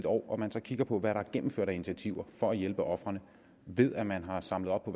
år og man så kigger på hvad der er gennemført af initiativer for at hjælpe ofrene ved at man har samlet op